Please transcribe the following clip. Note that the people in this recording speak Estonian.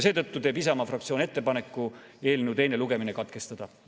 Isamaa fraktsioon teeb ettepaneku eelnõu teine lugemine katkestada.